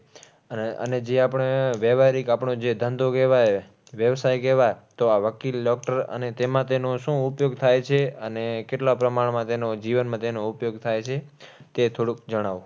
અને જે આપણે વહેવારીક, આપણો જે ધંધો કહેવાય, વ્યવસાય કહેવાય તો આ વકીલ, doctor અને તેમાં તેનો શું ઉપયોગ થાય છે? અને કેટલા પ્રમાણમાં તેનો જીવનમાં તેનો ઉપયોગ થાય છે તે જણાવો.